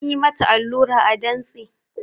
An yi mata allura a dantse